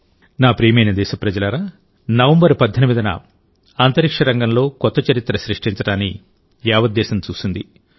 నా ప్రియమైన దేశప్రజలారానవంబర్ 18న అంతరిక్ష రంగంలో కొత్త చరిత్ర సృష్టించడాన్ని యావద్దేశం చూసింది